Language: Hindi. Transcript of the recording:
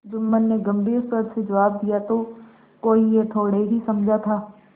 जुम्मन ने गम्भीर स्वर से जवाब दियातो कोई यह थोड़े ही समझा था